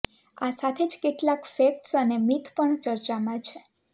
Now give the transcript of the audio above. આ સાથે જ કેટલાક ફેક્ટ્સ અને મિથ પણ ચર્ચામાં છે